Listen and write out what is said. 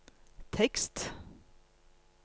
tekst